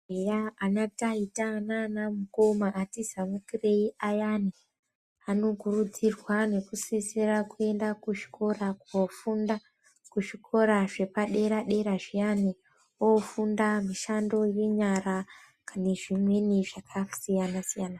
Eya anataita nanamukoma ati zamukirei ayani anokurudzirwa nekusisira kuenda kuzvikora kofunda kuzvikora zvepadera dera zviyani, ofunda mushando yenyara nezvimweni zvakasiyana-siyana.